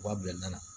U b'a bila